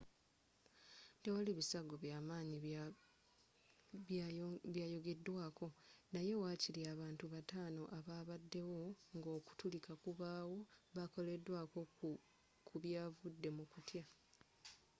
tewaali bisago by'amaanyi byayogeddwako naye waakiri abantu bataano ababaddewo nga okutulika kubaawo bakoleddwako ku byavudde mu kutya